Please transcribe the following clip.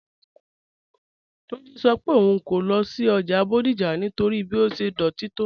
Túnjí́ sọ́ pé ọ̀un kò lọ sí ọ́jà Bodija nítorí bí ó ṣẹ̀ dọ́tí tó